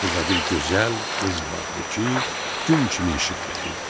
Burda bir gözəl qız vardı ki, gün kimi işıq verirdi.